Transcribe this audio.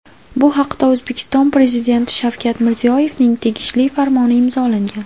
Bu haqda O‘zbekiston Prezidenti Shavkat Mirziyoyevning tegishli farmoni imzolangan .